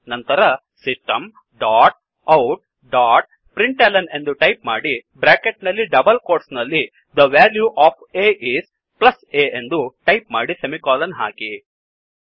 ನಂತರ system dot out dot println ಎಂದು type ಮಾಡಿ ಬ್ರ್ಯಾಕೆಟ್ ನಲ್ಲಿ ಡಬಲ್ ಕೋಟ್ಸ್ ನಲ್ಲಿ the value of a is plus a ಎಂದು ಟೈಪ್ ಮಾಡಿ ಸೆಮಿಕೋಲನ್ ಹಾಕಿ